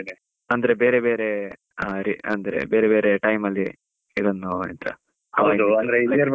ಅಂದ್ರೆ ಬೆರೇ ಬೆರೇ, ಅದೇ ಅಂದ್ರೆ ಬೆರೇ ಬೆರೇ time ಅಲ್ಲಿ, ಇದನ್ನು ಎಂತಾ .